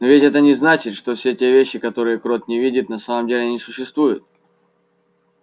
но ведь это не значит что все те вещи которые крот не видит на самом деле не существуют